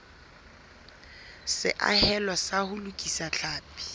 seahelo sa ho lokisa tlhapi